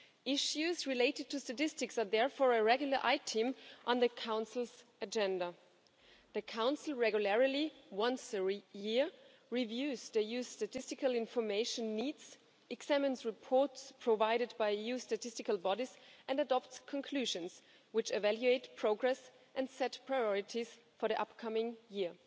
Issues related to statistics are therefore a regular item on the Council's agenda. The Council regularly once every year reviews the EU's statistical information needs, examines reports provided by EU statistical bodies and adopts conclusions, which evaluate progress and set priorities for the upcoming year.